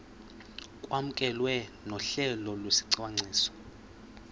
kwamkelwe nohlelo lwesicwangciso